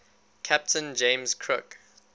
captain james cook